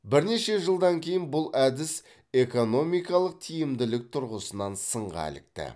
бірнеше жылдан кейін бұл әдіс экономикалық тиімділік тұрғысынан сынға ілікті